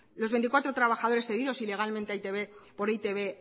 los veinticuatro trabajadores cedidos ilegalmente a por e i te be